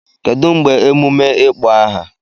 Kedu mgbe emume ịkpọ aha?